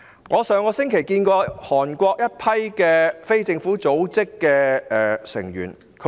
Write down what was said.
我在上星期接見了一群韓國非政府組織的成員。